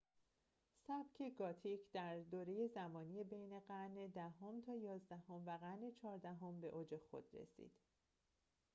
سبک گوتیک در دوره زمانی بین قرن ۱۰ام تا ۱۱ام و قرن ۱۴ام به اوج خود رسید